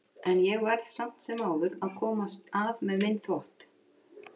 En ég verð samt sem áður að komast að með minn þvott.